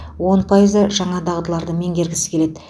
он пайызы жаңа дағдыларды меңгергісі келеді